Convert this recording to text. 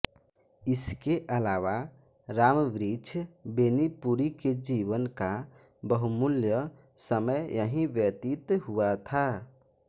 इसके अलावा रामवृक्ष बेनीपुरी के जीवन का वहुमूल्य समय यहीं व्यतीत हुआ था